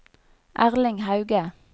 Erling Hauge